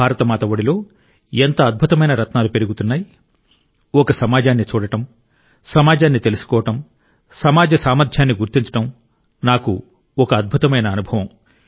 భారతమాత ఒడిలో ఎంత అద్భుతమైన రత్నాలు పెరుగుతున్నాయి ఒక సమాజాన్ని చూడడం సమాజాన్ని తెలుసుకోవడం సమాజ సామర్థ్యాన్ని గుర్తించడం నాకు ఒక అద్భుతమైన అనుభవం